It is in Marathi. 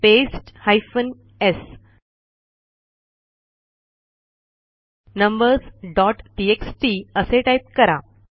paste hyphen s numbers dot TXT असे टाईप करा